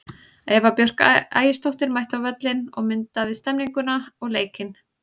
Eva Björk Ægisdóttir mætti á völlinn og myndaði stemmninguna og leikinn.